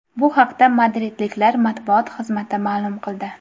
Bu haqda madridliklar matbuot xizmati ma’lum qildi .